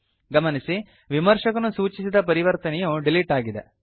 ಗಮನಿಸಿ ವಿಮರ್ಶಕನು ಸೂಚಿಸಿದ ಪರಿವರ್ತನೆಯು ಡಿಲೀಟ್ ಆಗಿದೆ